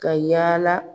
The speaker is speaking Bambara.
Ka yala